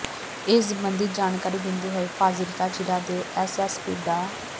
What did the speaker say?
ਇਸ ਸਬੰਧੀ ਜਾਣਕਾਰੀ ਦਿੰਦੇ ਹੋਏ ਫਾਜ਼ਿਲਕਾ ਜ਼ਿਲ੍ਹੇ ਦੇ ਐਸ ਐਸ ਪੀ ਡਾ